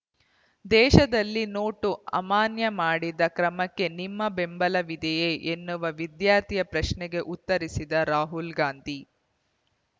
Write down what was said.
ದೇಶದಲ್ಲಿ ನೋಟು ಅಮಾನ್ಯ ಮಾಡಿದ ಕ್ರಮಕ್ಕೆ ನಿಮ್ಮ ಬೆಂಬಲವಿದೆಯೇ ಎನ್ನುವ ವಿದ್ಯಾರ್ಥಿಯ ಪ್ರಶ್ನೆಗೆ ಉತ್ತರಿಸಿದ ರಾಹುಲ್ ಗಾಂಧಿ